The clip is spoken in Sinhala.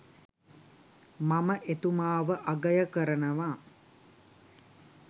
මම එතුමාව අගය කරනවා